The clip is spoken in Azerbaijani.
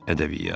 Ədəbiyyat.